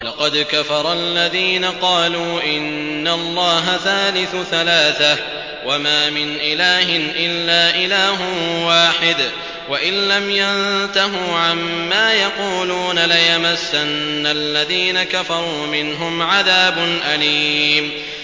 لَّقَدْ كَفَرَ الَّذِينَ قَالُوا إِنَّ اللَّهَ ثَالِثُ ثَلَاثَةٍ ۘ وَمَا مِنْ إِلَٰهٍ إِلَّا إِلَٰهٌ وَاحِدٌ ۚ وَإِن لَّمْ يَنتَهُوا عَمَّا يَقُولُونَ لَيَمَسَّنَّ الَّذِينَ كَفَرُوا مِنْهُمْ عَذَابٌ أَلِيمٌ